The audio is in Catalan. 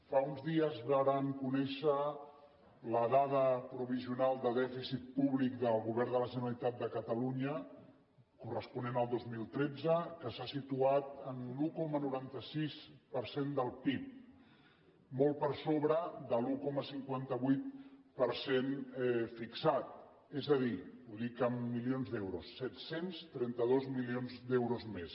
fa uns dies vàrem conèixer la dada provisional de dèficit públic del govern de la generalitat de catalunya corresponent al dos mil tretze que s’ha situat en l’un coma noranta sis per cent del pib molt per sobre de l’un coma cinquanta vuit per cent fixat és a dir ho dic en milions d’euros set cents i trenta dos milions d’euros més